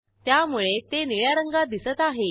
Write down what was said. त्यामुळे ते निळ्या रंगात दिसत आहे